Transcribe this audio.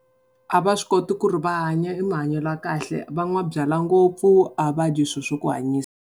A va swi koti ku ri va hanya emahanyelo ya kahle va n'wa byalwa ngopfu, a va dyi swilo swa ku hanyisa.